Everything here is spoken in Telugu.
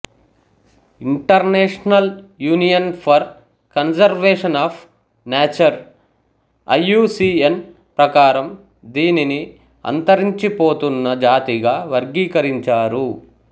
international union for conservation of nature IUCN ప్రకారం దీనిని అంతరించిపోతున్న జాతిగా వర్గీకరించారు